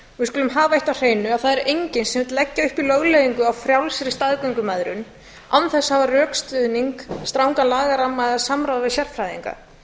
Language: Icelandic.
skulum hafa eitt á hreinu að það er enginn sem vill leggja upp í lögleiðingu á frjálsri staðgöngumæðrun án þess að hafa rökstuðning strangan lagaramma eða samráð við sérfræðinga